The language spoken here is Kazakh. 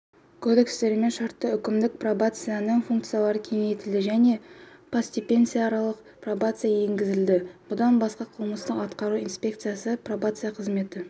кодекстерімен шартты-үкімдік пробацияның функциялары кеңейтілді және постпенитенциарлық пробация енгізілді бұдан басқа қылмыстық-атқару инспекциясы пробация қызметі